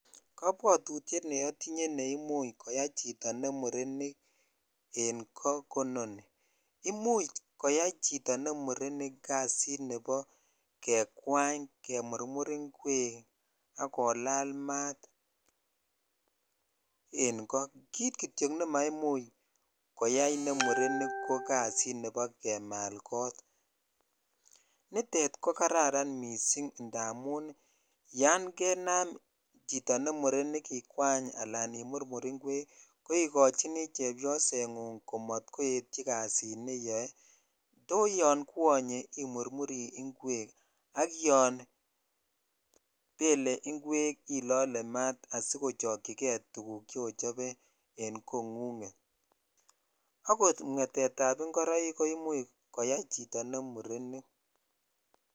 Kapbwotutyet ne otinye neimuch koyai chito ne murenik en ko kononi imuch koyai chito ne murenik kasit nebo kekwany kemurmur ingwek ak kolal mat en ko kt jityok nemaimuch koyaa ko jasit nebo kemal kot nitet ko jacaranda missing indamun yan kenam chito ne murenik ikwany al imurur ingwek ko ikochini chbyosengung ko matkoetyi kasit neyoo yo yon keonyev imurmur ingwek ak yo bele ingwek ilolee maat asikochokchikei tuguk chochobe en kongunget akot mwetet ab ingoroik ko imuch koyai chito ne murenik.